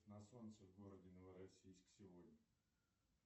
на солнце в городе новороссийск сегодня